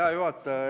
Hea juhataja!